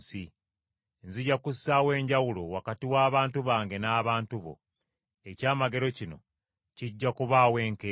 Nzija kussaawo enjawulo wakati w’abantu bange n’abantu bo. Ekyamagero kino kijja kubaawo enkeera.’ ”